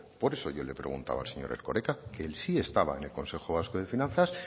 por eso yo le preguntaba al señor erkoreka quien sí estaba en el consejo vasco de finanzas